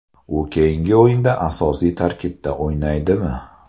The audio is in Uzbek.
U keyingi o‘yinda asosiy tarkibda o‘ynaydimi?